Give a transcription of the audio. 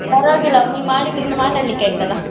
ಪರ್ವಾಗಿಲ್ಲ ನೀ ಮಾಡಿದ್ರಿಂದಾ ಮಾತಾಡ್ಲಿಕ್ಕ ಆಯ್ತಲ್ಲ.